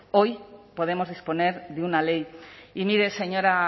hoy podemos disponer de una ley y mire señora